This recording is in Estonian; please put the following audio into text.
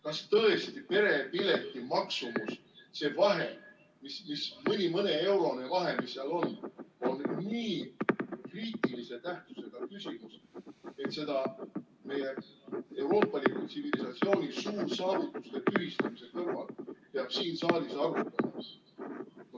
Kas tõesti perepileti maksumus, see vahe, mõneeurone vahe, mis seal on, on nii kriitilise tähtsusega küsimus, et seda meie euroopaliku tsivilisatsiooni suursaavutuste tühistamise kõrval peab siin saalis arutama?